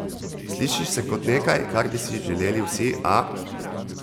Sliši se kot nekaj, kar bi si želeli vsi, a ...